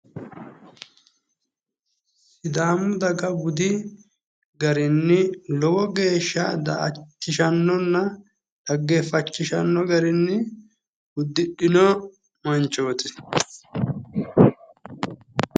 Sidaamu dag budi garinni lowo geeshsha da'achishannonna dhaggeeffachishanno garinni uddidhino manchooti.